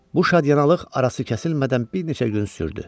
Bu şadyanalıq arası kəsilmədən bir neçə gün sürdü.